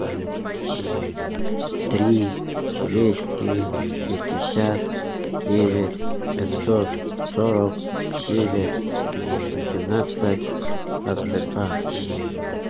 три двести шестьдесят девять пятьсот сорок девять восемнадцать двадцать два